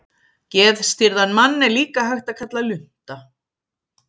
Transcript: Geðstirðan mann er líka hægt að kalla lunta.